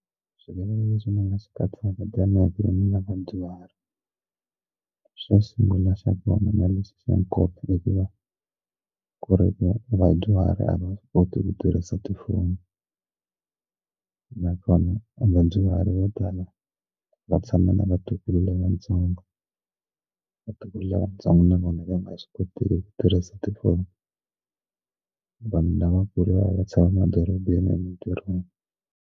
Swivilelo leswi ni nga swi katsaka vadyuhari xo sungula xa kona na lexi xa nkoka i ku va ku ri vadyuhari a va swi koti ku tirhisa tifoni nakona onge vo tala va tshame na vatukulu lavatsongo vatukulu lavatsongo na vona va nga swi koteki ku tirhisa tifoni vanhu lavakulu va ya tshama emadorobeni .